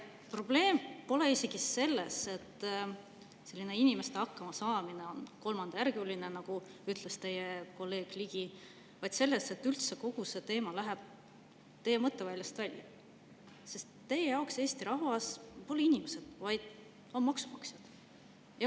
Probleem pole isegi selles, et inimeste hakkamasaamine on kolmandajärguline, nagu ütles teie kolleeg Ligi, vaid selles, et üldse kogu see teema läheb teie mõtteväljast välja, sest teie jaoks Eesti rahvas pole inimesed, vaid on maksumaksjad.